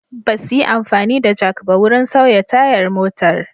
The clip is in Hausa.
Ba su yi amfani da jak ba wurin sauya tayar motar.